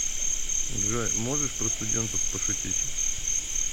джой можешь про студентов пошутить